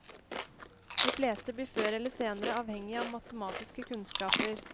De fleste blir før eller senere avhengig av matematiske kunnskaper.